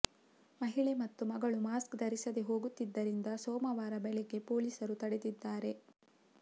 ಮಹಿಳೆ ಮತ್ತು ಮಗಳು ಮಾಸ್ಕ್ ಧರಿಸದೇ ಹೋಗುತ್ತಿದ್ದರಿಂದ ಸೋಮವಾರ ಬೆಳಗ್ಗೆ ಪೊಲೀಸರು ತಡೆದಿದ್ದಾರೆ